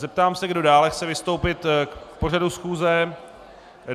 Zeptám se, kdo dále chce vystoupit k pořadu schůze.